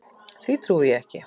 Því trúi ég ekki.